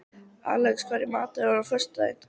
Alex, hvað er í matinn á föstudaginn?